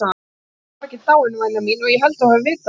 Ég var ekki dáinn væna mín, og ég held þú hafir vitað það.